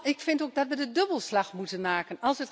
Ik vind ook dat we de dubbelslag moeten maken.